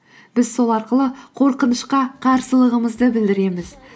біз сол арқылы қорқынышқа қарсылығымызды білдіреміз